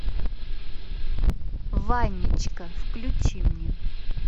ванечка включи мне